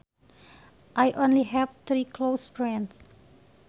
I only have three close friends